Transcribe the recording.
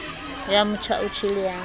ya motjha o tjhele ya